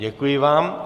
Děkuji vám.